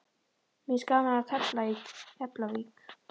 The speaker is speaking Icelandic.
Mér finnst gaman að tefla í Keflavík.